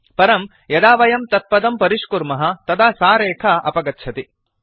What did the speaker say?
परं यदा वयं तत्पदं परिष्कुर्मः तदा सा रेखा अपगच्छति